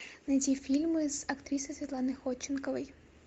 найди фильмы с актрисой светланой ходченковой